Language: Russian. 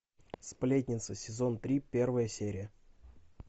сплетница сезон три первая серия